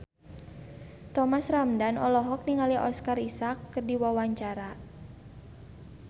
Thomas Ramdhan olohok ningali Oscar Isaac keur diwawancara